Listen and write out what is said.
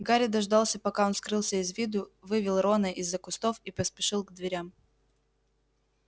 гарри дождался пока он скрылся из виду вывел рона из-за кустов и поспешил к дверям